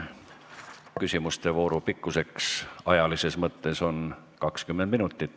Küsimuste vooru pikkuseks ajalises mõttes on 20 minutit.